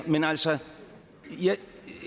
men altså jeg